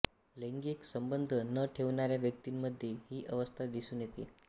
लैंगिक संबंध न ठेवणाऱ्या व्यक्तींमध्ये ही अवस्था दिसून येते